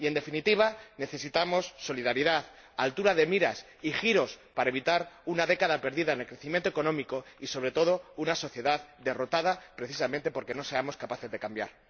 Y en definitiva, necesitamos solidaridad, altura de miras y giros para evitar una década perdida en el crecimiento económico y, sobre todo, una sociedad derrotada precisamente porque no seamos capaces de cambiar.